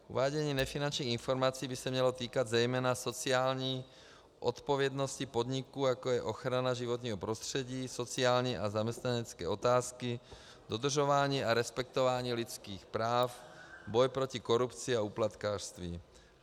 Uvádění nefinančních informací by se mělo týkat zejména sociální odpovědnosti podniků, jako je ochrana životního prostředí, sociální a zaměstnanecké otázky, dodržování a respektování lidských práv, boj proti korupci a úplatkářství.